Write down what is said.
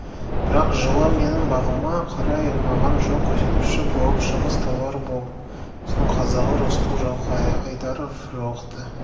бірақ жылы менің бағыма қарай маған жол көрсетуші болып шығыс-талғар болысының қазағы рысқұл жылқыайдаров жолықты